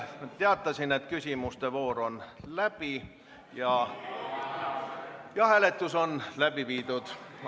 Ma teatasin, et küsimuste voor on läbi ja hääletus on läbi viidud.